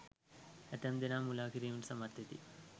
ඇතැම් දෙනා මුළා කිරීමට සමත් වෙති.